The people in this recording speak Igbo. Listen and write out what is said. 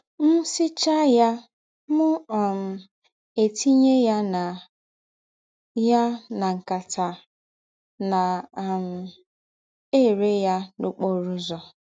M sichaa ya, mụ um etinye ya na ya na nkata, na um - ere ya n’ọkpọrọ ụzọ.